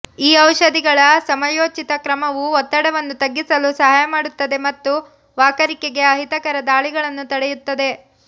ಈ ಔಷಧಿಗಳ ಸಮಯೋಚಿತ ಕ್ರಮವು ಒತ್ತಡವನ್ನು ತಗ್ಗಿಸಲು ಸಹಾಯ ಮಾಡುತ್ತದೆ ಮತ್ತು ವಾಕರಿಕೆಗೆ ಅಹಿತಕರ ದಾಳಿಗಳನ್ನು ತಡೆಯುತ್ತದೆ